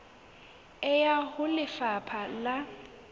e ya ho lefapha la